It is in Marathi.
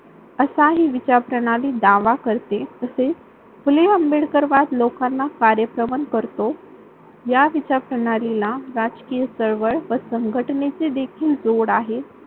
असा हि विचार प्रणाली दावा करते तसेच फुले आंबेडकरवाद लोकांना कार्यक्रमन करतो. या विचार प्रणालीला राजकीय चळवळ व संघटनेचे देखील जोड आहे.